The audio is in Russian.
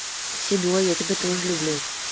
седой я тебя тоже люблю